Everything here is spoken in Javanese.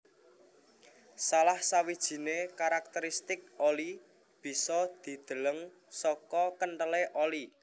Salah sawijiné karakteristik oli bisa dideleng saka kenthelé oli